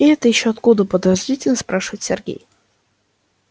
это ещё откуда подозрительно спрашивает сергей